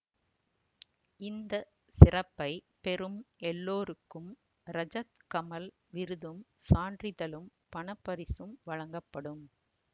இந்த சிறப்பை பெறும் எல்லோருக்கும் ரஜத் கமல் விருதும் சான்றிதழும் பணப்பரிசும் வழங்கப்படும்